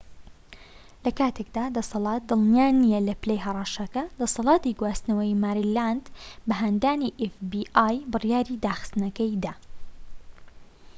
لە کاتێکدا دەسەڵات دڵنیا نیە لە پلەی هەڕەشەکە دەسەڵاتی گواستنەوەی ماریلاند بە هاندانی ئێف بی ئای بڕیاری داخستنەکەی دا